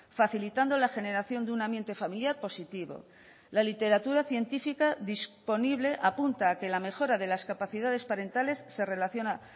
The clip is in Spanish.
facilitando la generación de un ambiente familiar positivo la literatura científica disponible apunta a que la mejora de las capacidades parentales se relaciona